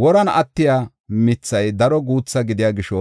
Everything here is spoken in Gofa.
Woran attiya mithay daro guuthi gidiya gisho,